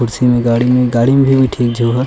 कुर्सी मे गाड़ी मे गाड़ी मे ठीक जोह --